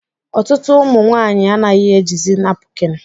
Ọtụtụ ụmụ nwanyị anaghị ejizi napukin